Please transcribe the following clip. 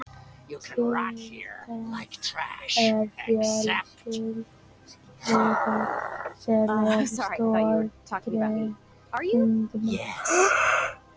Kítín er fjölsykra sem er í stoðgrind margra liðdýra.